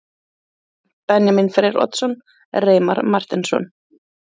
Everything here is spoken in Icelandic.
Lykilmenn: Benjamín Freyr Oddsson, Reimar Marteinsson